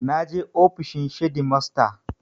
Na je ofishin shedimasta